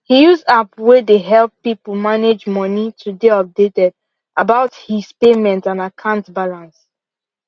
he use app way dey help people manage money to dey updated about his payment and akant balance